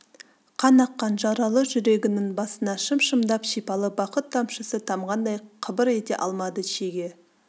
қан аққан жаралы жүрегінің басына шым-шымдап шипалы бақыт тамшысы тамғандай қыбыр ете алмады шеге